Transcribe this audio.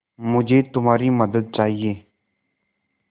मुझे तुम्हारी मदद चाहिये